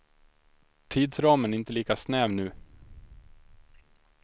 Tidsramen är inte lika snäv nu.